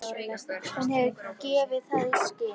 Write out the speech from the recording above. Hún hefur gefið það í skyn.